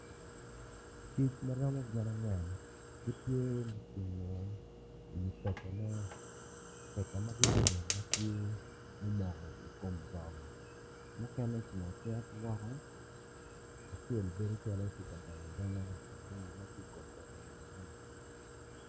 Kic ma romo gin angwen igtye gucungo peta mo peta matye ma giyubo ma omoko ikom bong mukene ocung acung ki woko acel bene calo tye ka donyo adonya.